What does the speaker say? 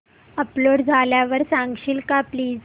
upload झाल्यावर सांगशील का प्लीज